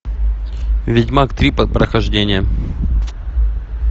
ведьмак три под прохождение